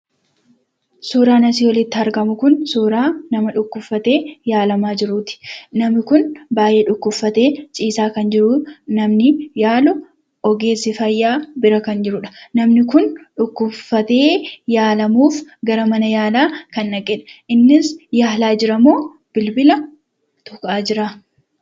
Suuraan asii olitti argamu kun suuraa nama dhukkubsatee yaalamaa jiruuti. Namni kun baay'ee dhukkubsatee ciisaa kan jiru, namni yaalu ogeessi fayyaa bira kan jiruudha. Namni kun dhukkubsatee yaalamuuf gara mana yaalaa kan dhaqeedha. Innis yaalaa jira moo bilbila tuqaa jira?